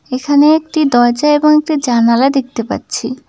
এখানে একটি দরজা এবং একটি জানালা দেখতে পাচ্ছি।